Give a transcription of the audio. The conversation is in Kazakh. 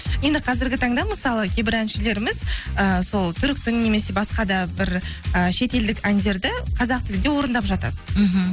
енді қазіргі таңда мысалы кейбір әншілеріміз і сол түріктің немесе басқа да бір і шетелдік әндерді қазақ тілінде орындап жатады мхм